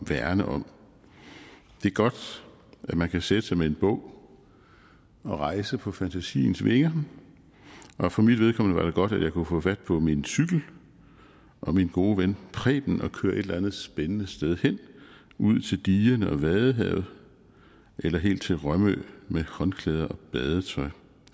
værne om det er godt at man kan sætte sig med en bog og rejse på fantasiens vinger og for mit vedkommende var det godt at jeg kunne få fat på min cykel og min gode ven preben og køre et eller andet spændende sted hen ud til digerne og vadehavet eller helt til rømø med håndklæde og badetøj